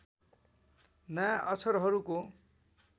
नयाँ अक्षरहरूको